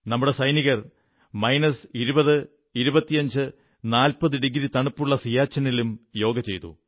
നമ്മുടെ സൈനികർ minus 20 25 40 degree തണുപ്പുള്ള സിയാച്ചിനിലും യോഗ ചെയ്തു